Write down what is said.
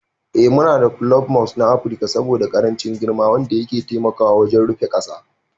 Ee muna dasa kulob Moss na Afirka saboda ƙarancin girma wanda yake taiamkwa wajen rufe ƙasa.